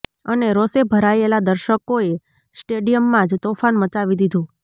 અને રોષે ભરાયેલા દર્શકોએ સ્ટેડિયમમાં જ તોફાન મચાવી દીધું